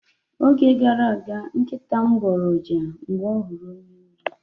Oge gara aga, nkịta m gboro uja oge ọ hụrụ ónyé órí.